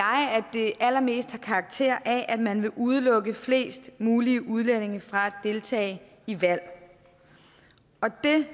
det allermest har karakter af at man vil udelukke flest mulige udlændinge fra at deltage i valg og det